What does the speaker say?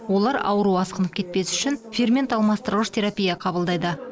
олар ауру асқынып кетпес үшін фермент алмастырғыш терапия қабылдайды